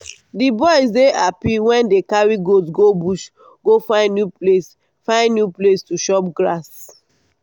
the boys dey happy wen dey carry goat go bush go find new place find new place to chop grass